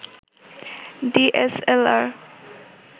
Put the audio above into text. DSLR